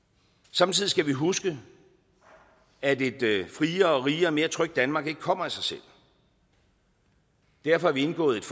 samtidig skal vi huske at et friere rigere og mere trygt danmark ikke kommer af sig selv derfor har vi indgået